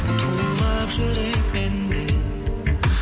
тулап жүрек менде